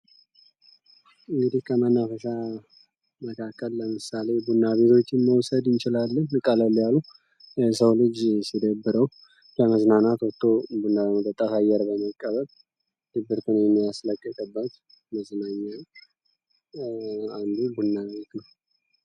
እንግዲህ ከመናፈሻ ቤቶች መካከል ቡና ቤቶችን መውሰድ እንችላለን ቀለል ያሉ፥ ሰዎች ሲደብረው ለመዝናናት ወጥቶ ቡና ለመጠጣት፥ አየር ለመቀበል፥ ድብርትን የሚያስለቅቅበት መዝናኛ አንዱ ቡና ቤት ነው።